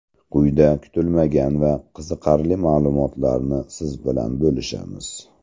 Quyida kutilmagan va qiziqarli ma’lumotlarni siz bilan bo‘lishamiz.